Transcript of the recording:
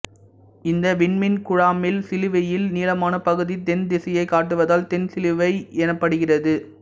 இந்த விண்மீன் குழாமில் சிலுவையில் நீளமான பகுதி தென் திசையைக் காட்டுவதால் தென்சிலுவை எனப்படுகிறது